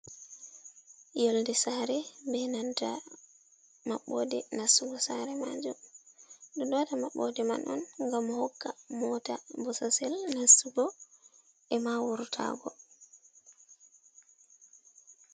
Yolde sare be nanta maɓɓode nastugo sare majum ɓeɗo waɗa maɓɓode man on ngam hokka mota bososel nastugo e ma wuratago.